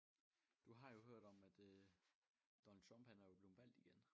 Du har jo hørt om at øh Donald Trump han er jo blevet valgt igen